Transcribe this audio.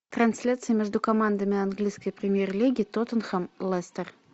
трансляция между командами английской премьер лиги тоттенхэм лестер